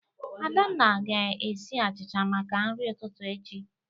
Adanna ga-esi achịcha maka nri ụtụtụ echi.